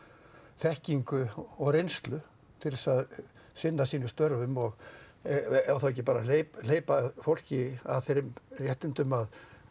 þekkingu og reynslu til þess að sinna sínum störfum og á þá ekki bara að hleypa hleypa fólki að þeim réttindum að